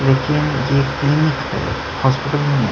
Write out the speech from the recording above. यह हॉस्पिटल